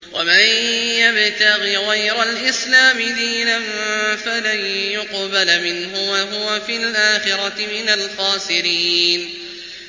وَمَن يَبْتَغِ غَيْرَ الْإِسْلَامِ دِينًا فَلَن يُقْبَلَ مِنْهُ وَهُوَ فِي الْآخِرَةِ مِنَ الْخَاسِرِينَ